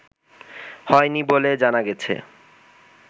হয়নি বলে জানা গেছে